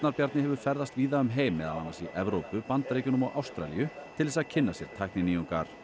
Bjarni hefur ferðast víða um heim meðal annars í Evrópu Bandaríkjunum og Ástralíu til þess að kynna sér tækninýjungar